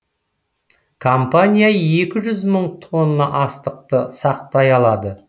компания екі жүз мың тонна астықты сақтай алады